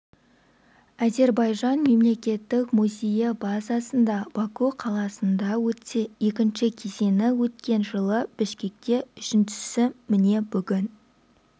әзербайжан мемлекеттік музейі базасында баку қаласында өтсе екінші кезеңі өткен жылы бішкекте үшіншісі міне бүгін